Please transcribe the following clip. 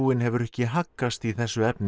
hefur ekki haggast í þessu efni